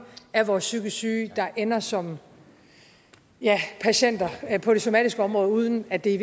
af vores psykisk syge der ender som patienter på det somatiske område uden at det i